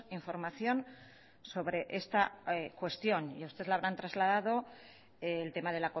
información sobre esta cuestión y a usted le habrán trasladado el tema de